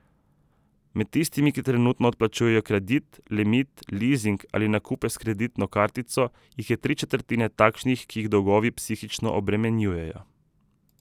Med tistimi, ki trenutno odplačujejo kredit, limit, lizing ali nakupe s kreditno kartico, jih je tri četrtine takšnih, ki jih dolgovi psihično obremenjujejo.